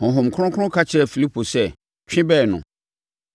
Honhom Kronkron ka kyerɛɛ Filipo sɛ, “Twe bɛn no.”